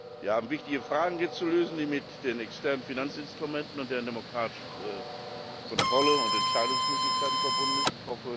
Wir haben hier wichtige Fragen zu lösen, die mit den externen Finanzinstrumenten und deren demokratischer Kontrolle und Entscheidungsmöglichkeiten verbunden sind.